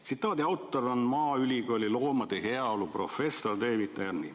" Tsitaadi autor on maaülikooli loomade heaolu professor David Arney.